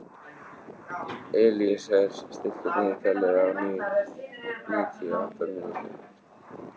Elíeser, stilltu niðurteljara á níutíu og átta mínútur.